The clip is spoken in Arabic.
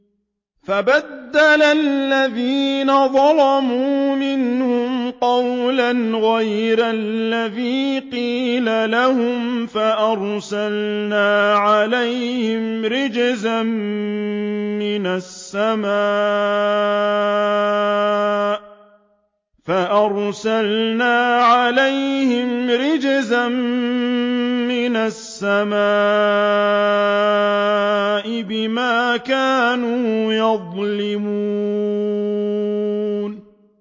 فَبَدَّلَ الَّذِينَ ظَلَمُوا مِنْهُمْ قَوْلًا غَيْرَ الَّذِي قِيلَ لَهُمْ فَأَرْسَلْنَا عَلَيْهِمْ رِجْزًا مِّنَ السَّمَاءِ بِمَا كَانُوا يَظْلِمُونَ